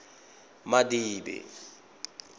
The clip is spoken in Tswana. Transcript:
madibe